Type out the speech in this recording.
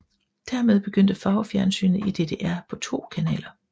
Dermed begyndte farvefjernsynet i DDR på to kanaler